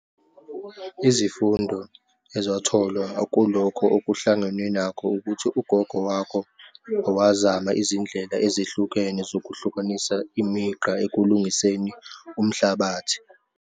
Izifundo ezatholwa akulokhu okuhlangenwe nakho, ukuthi ugogo wakho owazama izindlela ezehlukene zokuhlukanisa imigqa ekulungiseni umhlabathi.